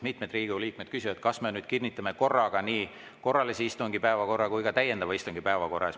Mitmed Riigikogu liikmed küsiksid, kas me kinnitame korraga nii korralise istungi päevakorra kui ka täiendava istungi päevakorra.